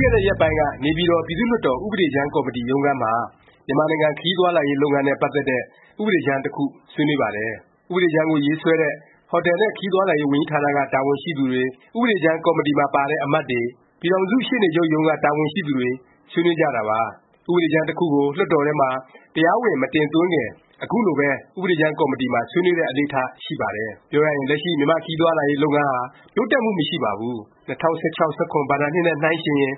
ခဲ့တဲ့ ရက်ပိုင်းက နေပြည်တော် ပြည်သူ့လွှတ်တော် ဥပဒေကြမ်းကော်မတီ ရုံးခန်းမှာ မြန်မာနိုင်ငံ ခရီးသွားလာရေးလုပ်ငန်းနဲ့ ပတ်သက်တဲ့ ဥပဒေကြမ်း တစ်ခု ဆွေးနွေးပါတယ်။ ဥပဒေကြမ်းကို ရေးဆွဲတဲ့ ဟိုတယ်နဲ့ ခရီးသွားလာရေးဝန်ကြီးဌာန က တာဝန်ရှိသူတွေ၊ ဥပဒေကြမ်း ကော်မတီမှာ ပါတဲ့ အမတ်တွေ၊ ပြည်ထောင်စု ရှေ့နေချုပ်ရုံးက တာဝန်ရှိသူတွေ ဆွေးနွေးကြတာပါ။ ဥပဒေကြမ်း တခုကို လွှတ်တော်ထဲမှာ တရားဝင် မတင်သွင်းခင် ခုလိုပဲ ဥပဒေကြမ်း ကော်မတီမှာ ဆွေးနွေးတဲ့ အလေ့အထ ရှိပါတယ်။ ပြောရရင် လက်ရှိ မြန်မာ့ ခရီးသွားလာရေး လုပ်ငန်းဟာ တိုးတက်မှု မရှိပါဘူး။ ၂၀၁၆-၁၇ ဘဏ္ဍာနှစ်နဲ့ နှိုင်းယှဉ်ရင်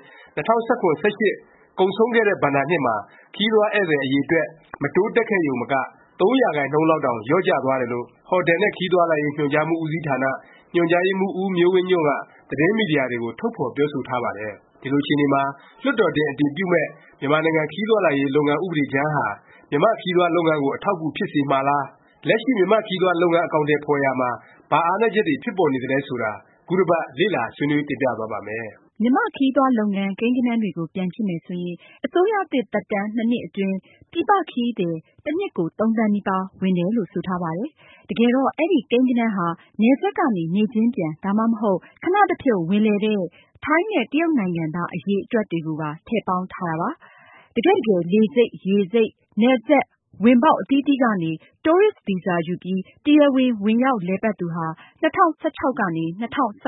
၂၀၁၇-၁၈ ကုန်ဆုံးခဲ့တဲ့ ဘဏ္ဍာနှစ်မှာ ခရီးသွားဧည့်သည် အရည်အတွက် မတိုးတက်ခဲ့ရုံမက ၃ ရာခိုင်နှုန်းလောက်တောင် လျော့ကျသွားတယ်လို့ ဟိုတယ် နှင့် ခရီးသွား ညွှန်ကြားမှု ဦးစီးဌာန၊ညွှန်ကြားရေးမှူး ဦးမျိုးဝင်းညွန့်က သတင်းမီဒီယာတွေကို ထုတ်ဖော်ပြောဆိုထားပါတယ်။ ဒီလိုအခြေအနေမှာ လွှတ်တော်တင် အတည်ပြုမယ့် မြန်မာနိုင်ငံ ခရီးသွားလာရေး လုပ်ငန်း ဥပဒေကြမ်းဟာ မြန်မာ့ ခရီးသွားလုပ်ငန်းကို အထောက်အကူ ဖြစ်စေမှာလား၊ လက်ရှိ မြန်မာ့ခရီးသွားလုပ်ငန်း အကောင်အထည် ဖော်ရာမှာ ဘာအားနည်းချက်တွေ ဖြစ်ပေါ်နေသလဲ ဆိုတာ ခုတစ်ပတ် လေ့လာ ဆွေးနွေး တင်ပြသွားပါ့မယ်။ မြန်မာ့ခရီးသွား လုပ်ငန်း ကိန်းဂဏန်းတွေကို ပြန်ကြည့်မယ် ဆိုရင် အစိုးရသစ် သက်တန်း ၂ နှစ်အတွင်း ပြည်ပ ခရီးသည် တနှစ်ကို ၃ သန်းနီးပါး ဝင်တယ်လို့ ဆိုထားပါတယ်။ တကယ်တော့ အဲဒီ ကိန်းဂဏန်းဟာ နယ်စပ်ကနေ နေ့ချင်းပြန်၊ ဒါမှမဟုတ် ခဏတစ်ဖြုတ် ဝင်လည်တဲ့ ထိုင်းနဲ့ တရုတ်နိုင်ငံသား အရည်အတွက်တွေကိုပါ ထည့်ပေါင်းထားတာပါ။ တကယ့်တကယ် လေဆိပ်၊ ရေဆိပ်၊ နယ်စပ် ဝင်ပေါက် အသီးသီးကနေ တိုးရစ်ဗီဇာ ယူပြီး တရားဝင် ဝင်ရောက်လည်ပတ်သူဟာ ၂၀၁၆-၁၇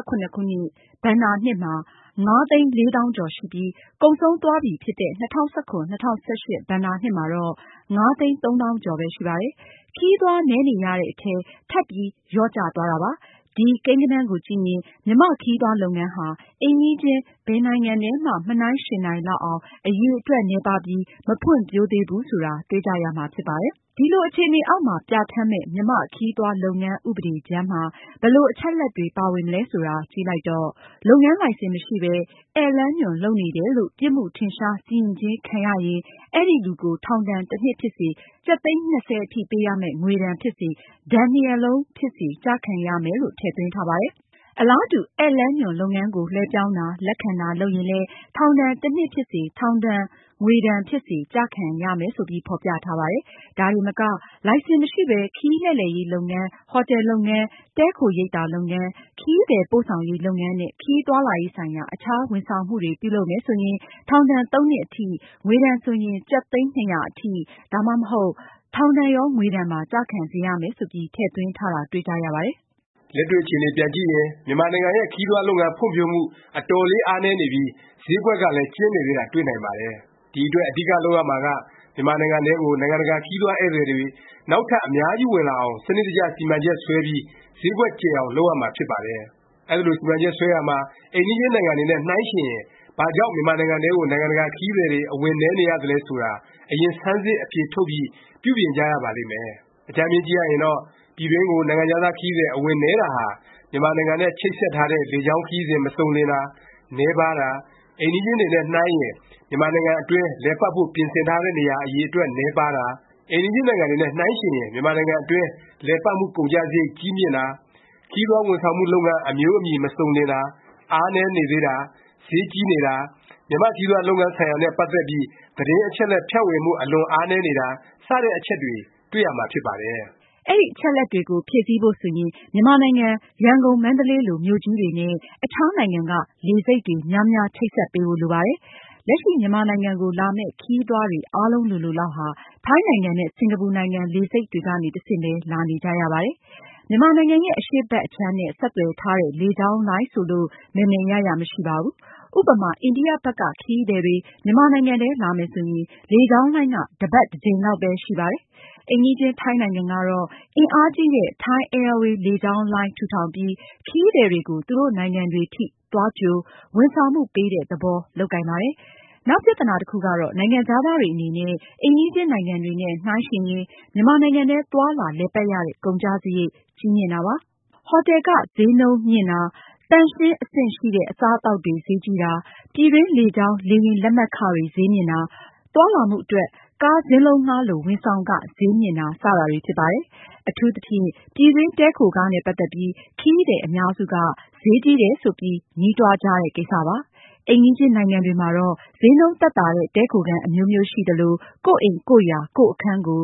ဘဏ္ဍာနှစ်မှာ ၅သိန်း၄သောင်းကျော်ရှိပြီး၊ ကုန်ဆုံးသွားပြီဖြစ်တဲ့ ၂၀၁၇-၁၈ ဘဏ္ဍာနှစ်မှာတော့ ၅သိန်း၃သောင်းကျော်ပဲ ရှိပါတယ်။ ခရီးသွား နည်းနေရတဲ့အထဲ ထပ်ပြီး လျော့ကျသွားတာပါ။ ဒီ ကိန်းဂဏန်းကိုကြည့်ရင် မြန်မာ့ခရီးသွားလုပ်ငန်းဟာ အိမ်နီးချင်း ဘယ်နိုင်ငံနဲ့မှ မနှိုင်းယှဉ်နိုင်လောက်အောင် အရည်အတွက် နည်းပါးပြီး မဖွံ့ဖြိုးသေးဘူး ဆိုတာ တွေ့ကြရမှာ ဖြစ်ပါတယ်။ ဒီလို အခြေအနေအောက်မှာ ပြဌာန်းမယ့် မြန်မာ့ခရီးသွားလုပ်ငန်း ဥပဒေကြမ်းမှာ ဘယ်လို အချက်အလက်တွေ ပါဝင်မလဲ ဆိုတာ ကြည့်လိုက်တော့ လုပ်ငန်းလိုင်စင် မရှိပဲ ဧည့်လမ်းညွှန် လုပ်နေတယ်လို့ ပြစ်မှုထင်ရှား စီရင်ခြင်း ခံရရင် အဲဒီလူကို ထောင်ဒါဏ် တစ်နှစ်ဖြစ်စေ၊ ကျပ် သိန်း ၂၀ အထိပေးရမယ့် ငွေဒါဏ်ဖြစ်စေ၊ ဒါဏ်နှစ်ရပ်လုံး ဖြစ်စေ ကျခံရမယ် လို့ ထည့်သွင်းထားပါတယ်။ အလားတူ ဧည့်လမ်းညွှန် လုပ်ငန်းကို လွဲှပြောင်းတာ၊ လက်ခံတာ လုပ်ရင်လည်း ထောင် တစ်နှစ် ဖြစ်စေ၊ ထောင်ဒါဏ်ငွေဒါဏ် ဖြစ်စေ ကျခံရမယ် ဆိုပြီး ဖော်ပြထားပါတယ်။ ဒါတင်မက လိုင်စင်မရှိပဲ ခရီးလှည့်လည်ရေး လုပ်ငန်း၊ ဟိုတယ်လုပ်ငန်း၊ တည်းခိုရိပ်သာ လုပ်ငန်း၊ ခရီးသည် ပို့ဆောင်ရေး လုပ်ငန်းနဲ့ ခရီးသွားလာရေးဆိုင်ရာ အခြားဝန်ဆောင်မှုတွေ ပြုလုပ်မယ် ဆိုရင် ထောင်ဒါဏ် ၃ နှစ်အထိ၊ ငွေဒါဏ်ဆိုရင် ကျပ် သိန်း ၂၀၀ အထိ၊ ဒါမှမဟုတ် ထောင်ဒါဏ်ရော ငွေဒါဏ်ပါ ကျခံစေရမယ်ဆိုပြီး ထည့်သွင်းထားတာ တွေ့ကြရပါတယ်။ လက်တွေ့အခြေအနေ ပြန်ကြည့်ရင် မြန်မာနိုင်ငံရဲ့ ခရီးသွားလုပ်ငန်း ဖွံ့ဖြိုးမှု အတော်လေး အားနည်းနေပြီး၊ ဈေးကွက်ကလည်း ကျဉ်းနေသေးတာ တွေ့နိုင်ပါတယ်။ ဒီအတွက် အဓိက လုပ်ရမှာက မြန်မာနိုင်ငံထဲကို နိုင်ငံတကာ ခရီးသွားဧည့်သည်တွေ နောက်ထပ် အများကြီး ဝင်လာအောင် စနစ်တကျ စီမံချက် ဆွဲပြီး၊ ဈေးကွက်ကျယ်အောင် လုပ်ရမှာ ဖြစ်ပါတယ်။ အဲဒီလို စီမံချက် ဆွဲရာမှာ အိမ်နီးချင်း နိုင်ငံတွေနဲ့ နှိုင်းယှဉ်ရင် ဘာကြောင့် မြန်မာနိုင်ငံထဲကို နိုင်ငံတကာ ခရီးသည်တွေ အဝင်နည်းနေရသလဲ ဆိုတာ အရင် ဆန်းစစ် အဖြေ ထုတ်ပြီး ပြုပြင်ကြရပါလိမ့်မယ်။ အကြမ်းဖျဉ်း ကြည့်ရရင်တော့ ပြည်တွင်းကို နိုင်ငံခြားသား ခရီးသည် အဝင်နည်းတာဟာ မြန်မာနိုင်ငံနဲ့ ချိတ်ဆက်ထားတဲ့ လေကြောင်းခရီးစဉ် မစုံလင်တာ၊ နည်းပါးတာ၊ အိမ်နီးချင်းတွေနဲ့ နှိုင်းရင် မြန်မာနိုင်ငံအတွင်း လည်ပတ်ဖို့ ပြင်ဆင်ထားတဲ့ နေရာ အရည်အတွက် နည်းပါးတာ၊ အိမ်နီးချင်းနိုင်ငံတွေနဲ့ နှိုင်းယှဉ်ရင် မြန်မာနိုင်ငံအတွင်း လည်ပတ်မှု ကုန်ကျစားရိတ် ကြီးမြင့်တာ၊ ခရီးသွားဝန်ဆောင်မှု လုပ်ငန်း အမျိုးအမည် မစုံလင်တာ၊ နည်းနေသေးတာ၊ ဈေးကြီးနေတာ၊ မြန်မာ့ခရီးသွား လုပ်ငန်းဆိုင်ရာနဲ့ ပတ်သက်ပြီး သတင်းအချက်အလက် ဖြန့်ဝေမှု အလွန်အားနည်းနေတာ စတဲ့ အချက်တွေ တွေ့ရမှာ ဖြစ်ပါတယ်။ အဲဒီအချက်အလက်တွေကို ဖြည့်ဆည်းဖို့ ဆိုရင် မြန်မာနိုင်ငံ ရန်ကုန်၊ မန္တလေး လိုမြို့ကြီးတွေနဲ့ အခြား နိုင်ငံက လေဆိပ်တွေ များများ ချိတ်ဆက်ပေးဖို့ လိုပါတယ်။ လက်ရှိ မြန်မာနိုင်ငံကို လာမယ့် ခရီးသွားတွေ အားလုံးလိုလိုလောက်ဟာ ထိုင်းနိုင်ငံနဲ့ စင်္ကာပူနိုင်ငံ လေဆိပ်တွေကနေ တဆင့်ပဲ လာနေကြရပါတယ်။ မြန်မာနိုင်ငံရဲ့ အရှေ့ဘက် အခြမ်းနဲ့ ဆက်သွယ်ထားတဲ့ လေကြောင်းလိုင်းဆိုလို့ မယ်မယ်ရရ မရှိပါဘူး။ ဥပမာ အိန္ဒိယ ဘက်က ခရီးသည်တွေ မြန်မာနိုင်ငံထဲ လာမယ်ဆိုရင် လေကြောင်းလိုင်းက တစ်ပတ် တစ်ကြိမ်လောက်ပဲ ရှိပါတယ်။ အိမ်နီးချင်း ထိုင်းနိုင်ငံကတော့ အင်အားကြီးတဲ့ Thai Airway လေကြောင်းလိုင်း ထူထောင်ပြီး ခရီးသည်တွေကို သူတို့နိုင်ငံတွေထိ သွားကြို ဝန်ဆောင်မှု ပေးတဲ့ သဘော လုပ်ကိုင်ပါတယ်။ နောက်ပြသနာ တစ်ခုကတော့ နိုင်ငံခြားသားတွေ အနေနဲ့ အိမ်နီးချင်း နိုင်ငံတွေနဲ့ နှိုင်းရင် မြန်မာနိုင်ငံထဲ သွားလာ လည်ပတ်ရတဲ့ ကုန်ကျစားရိတ် ကြီးမြင့်တာပါ။ ဟော်တယ်ခ ဈေးနှုန်းမြင့်တာ၊ သန့်ရှင်း အဆင့်ရှိတဲ့ အစားအသောက်တွေ ဈေးကြီးတာ၊ ပြည်တွင်း လေကြောင်း လေယာဉ်လက်မှတ်ခတွေ ဈေးမြင့်တာ၊ သွားလာမှုအတွက် ကားစင်းလုံးငှားလို ဝန်ဆောင်ခ ဈေးမြင့်တာ စတာတွေ ဖြစ်ပါတယ်။ အထူးသဖြင့် ပြည်တွင်း တည်းခိုခ နဲ့ ပတ်သက်ပြီး ခရီးသည် အများစုက ဈေးကြီးတယ် ဆိုပြီး ညဉ်းတွားကြတဲ့ ကိစ္စပါ။ အိမ်နီးချင်းနိုင်ငံတွေမှာတော့ ဈေးနှုန်း သက်သာတဲ့ တည်းခိုခန်း အမျိုးမျိုး ရှိသလို၊ ကိုယ့်အိမ် ကိုယ့်ယာ၊ ကိုယ့်အခန်းကို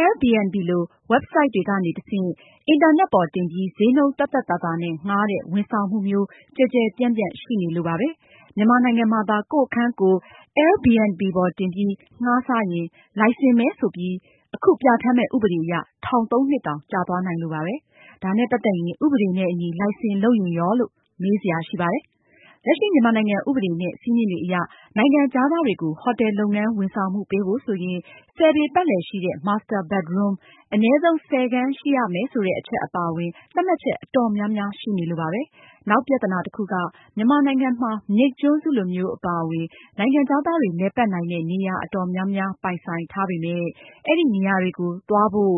Airbnb လို ဝက်ဘ်ဆိုက်တွေကနေ တဆင့် အင်တာနက်ပေါ်တင်ပြီး ဈေးနှုန်းသက်သက်သာသာနဲ့ ငှားတဲ့ ဝန်ဆောင်မှုမျိုး ကျယ်ကျယ်ပြန့်ပြန့် ရှိနေလို့ပါပဲ။ မြန်မာနိုင်ငံမှာသာ ကိုယ့်အခန်းကိုယ် Airbnb ပေါ်တင်ပြီး ငှားစားရင် လိုင်စင်မဲ့လို့ ဆိုပြီး အခု ပြဌာန်းမယ့် ဥပဒေအရ ထောင် ၃ နှစ်တောင် ကျသွားနိုင်လို့ပါပဲ။ ဒါနဲ့ ပတ်သက်ရင် ဥပဒေနဲ့အညီ လိုင်စင် လုပ်ရင်ရောလို့ မေးစရာ ရှိပါတယ်။ လက်ရှိ မြန်မာနိုင်ငံ ဥပဒေ နဲ့ စည်းမျဉ်းတွေအရ နိုင်ငံခြားသားတွေကို ဟိုတယ်လုပ်ငန်း ဝန်ဆောင်မှု ပေးဖို့ ဆိုရင် ၁၀ ပေ ပတ်လည်ရှိတဲ့ Master bedroom အနည်းဆုံး ၁၀ ခန်း ရှိရမယ် ဆိုတဲ့ အချက်အပါအဝင် သတ်မှတ်ချက် အတော်များများ ရှိနေလို့ပါပဲ။ နောက်ပြသနာ တစ်ခုက မြန်မာနိုင်ငံမှာ မြိတ်ကျွန်းစုလိုမျိုး အပါအဝင် နိုင်ငံခြားသားတွေ လည်ပတ်နိုင်တဲ့ နေရာ အတော်များများ ပိုင်ဆိုင်ထားပေမယ့် အဲဒီနေရာတွေကို သွားဖို့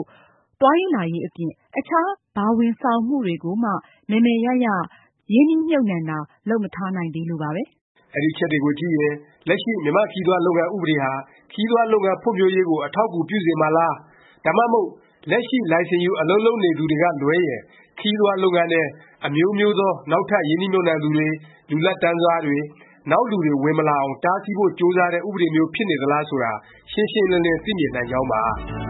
သွားလာရေး အပြင် အခြား ဘာဝန်ဆောင်မှုတွေကိုမှ မယ်မယ်ရရ ရင်းနှီးမြှုပ်နှံတာ လုပ်မထားနိုင်သေးလို့ပါပဲ။ အဲဒီအချက်တွေကို ကြည့်ရင် လက်ရှိ မြန်မာ့ခရီးသွား လုပ်ငန်း ဥပဒေဟာ ခရီးသွားလုပ်ငန်း ဖွံ့ဖြိုးရေးကို အထောက်အကူ ပြုစေမှာလား၊ ဒါမှမဟုတ် လက်ရှိ လိုင်စင်ယူ အလုပ်လုပ်နေသူတွေကလွဲရင် ခရီးသွားလုပ်ငန်း အမျိုးမျိုးထဲ နောက်ထပ် ရင်းနှီးမြှုပ်နှံသူတွေ၊ လူလတ်တန်းစားတွေ၊ နောက်လူတွေ ဝင်မလာအောင် တားဆီးဖို့ ကြိုးစားတဲ့ ဥပဒေမျိုး ဖြစ်နေသလား ဆိုတာ ရှင်းရှင်းလင်းလင်း သိမြင်နိုင်ကြောင်းပါ